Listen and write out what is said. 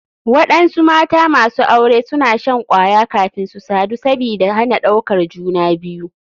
Waɗansu mata masu aure suna shan kwaya kafin su sadu sabida hana ɗaukar juna biyu.